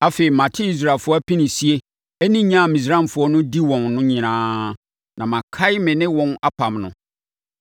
Afei, mate Israelfoɔ apinisie ne nya a Misraimfoɔ di wɔn no nyinaa na makae me ne wɔn apam no.